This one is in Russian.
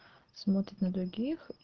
смотрит на других